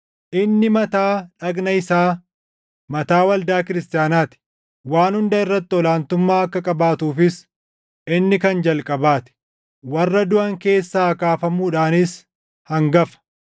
Inni mataa dhagna isaa, mataa waldaa kiristaanaa ti; waan hunda irratti ol aantummaa akka qabaatuufis inni kan jalqabaa ti; warra duʼan keessaa kaafamuudhaanis hangafa.